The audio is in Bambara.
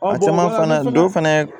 Waati fana dɔ fana